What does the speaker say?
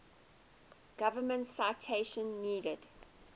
government citation needed